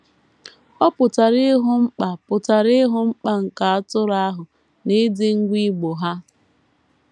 Ọ pụtara ịhụ mkpa pụtara ịhụ mkpa nke atụrụ ahụ na ịdị ngwa igbo ha.